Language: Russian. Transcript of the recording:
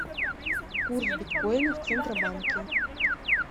курс биткоина в центробанке